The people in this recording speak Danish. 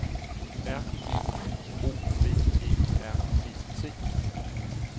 R E N O V E R E T